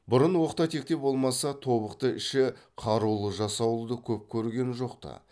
бұрын оқта текте болмаса тобықты іші қарулы жасауылды көп көрген жоқты